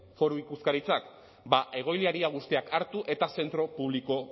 foru ikuskaritzak ba egoiliar guztiak hartu eta zentro publiko